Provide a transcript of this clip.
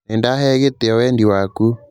Nĩ ndahee gĩtĩo wendi waku